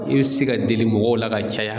I bɛ se ka deli mɔgɔw la ka caya.